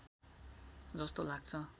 जस्तो लाग्छ